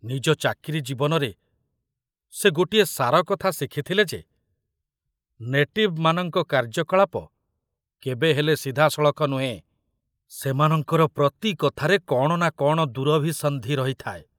ନିଜ ଚାକିରି ଜୀବନରେ ସେ ଗୋଟିଏ ସାରକଥା ଶିଖିଥିଲେ ଯେ ନେଟିଭମାନଙ୍କ କାର୍ଯ୍ୟକଳାପ କେବେହେଲେ ସିଧାସଳଖ ନୁହେଁ, ସେମାନଙ୍କର ପ୍ରତି କଥାରେ କଣ ନା କଣ ଦୁରଭିସନ୍ଧି ରହିଥାଏ।